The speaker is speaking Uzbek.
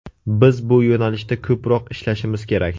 Biz bu yo‘nalishda ko‘proq ishlashimiz kerak.